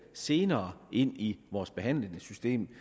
senere ind i vores behandlingssystem